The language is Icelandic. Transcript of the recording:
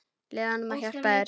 Leyfðu honum að hjálpa þér.